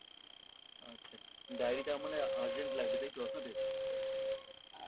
আচ্ছা diary টা মানে urgent লাগবে তাইতো আপনাদের?